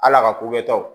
Hal'a ka ko kɛtaw